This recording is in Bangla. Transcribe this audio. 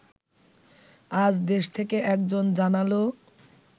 আজ দেশ থেকে একজন জানালো